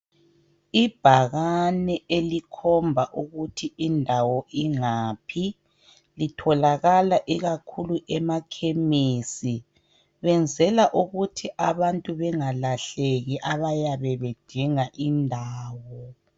Ibhakane elikhomba ukuthi indawo ingaphi litholakala kakhulu emakhemisi. Benzela ukuthi abantu bengalahleki abayabe bedinga indawo.